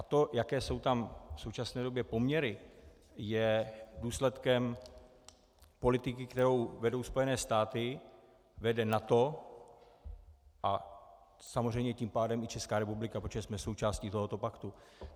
A to, jaké jsou tam v současné době poměry, je důsledkem politiky, kterou vedou Spojené státy, vede NATO a samozřejmě tím pádem i Česká republika, protože jsme součástí tohoto paktu.